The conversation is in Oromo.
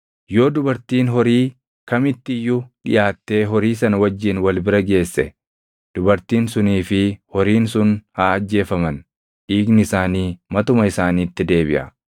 “ ‘Yoo dubartiin horii kamitti iyyuu dhiʼaattee horii sana wajjin wal bira geesse, dubartiin sunii fi horiin sun haa ajjeefaman; dhiigni isaanii matuma isaaniitti deebiʼa.